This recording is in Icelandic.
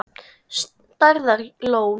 Stærðar lón.